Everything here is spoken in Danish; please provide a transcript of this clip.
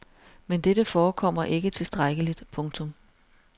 Men dette forekommer ikke tilstrækkeligt. punktum